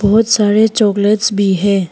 बहुत सारे चॉकलेट्स भी है।